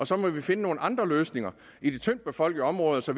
så må vi finde nogle andre løsninger i de tyndtbefolkede områder så